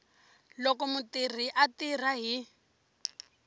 loko mutirhi a tirha hi